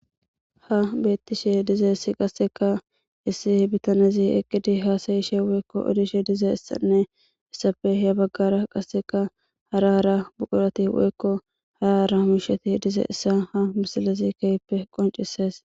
Ha beettishe diza issi qasseka issi bitanezi eqqidi haasayishe weykko odishe diza issanne issafe hya baggara qasseka hara hara buqurati weykko hara hara misheti diza issa ha misilazi keyppe qoncisees.